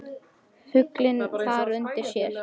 Fuglinn þar unir sér.